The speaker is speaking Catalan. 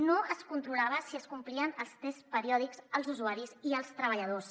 no es controlava si es complien els tests periòdics als usuaris i els treballadors